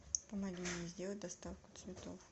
помоги мне сделать доставку цветов